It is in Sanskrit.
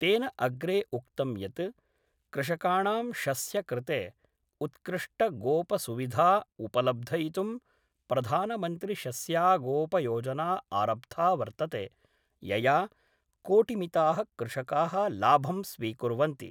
तेन अग्रे उक्तं यत् कृषकाणां शस्य कृते उत्कृष्टगोपसुविधा उपलब्धयितुं प्रधानमन्त्रिशस्यागोपयोजना आरब्धा वर्तते, यया कोटिमिताः कृषकाः लाभं स्वीकुर्वन्ति।